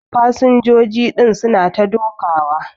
Fasinjoji din su na ta dokawa.